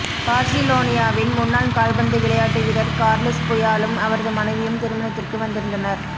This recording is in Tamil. பார்சிலோனியாவின் முன்னாள் கால்பந்து விளையாட்டு வீரர் கார்லெஸ் புயாலும் அவரது மனைவியும் திருமணத்திற்கு வந்திருந்தனர்